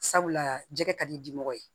Sabula jɛgɛ ka di di mɔgɔ ye